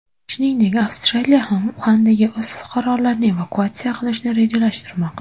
Shuningdek, Avstraliya ham Uxandagi o‘z fuqarolarini evakuatsiya qilishni rejalashtirmoqda .